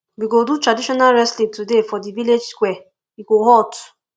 we go do traditional wrestling today for di village square e go hot